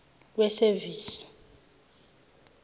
wesevisi